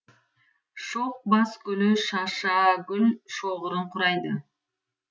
шоқ бас гүлі шашагүл шоғырын құрайды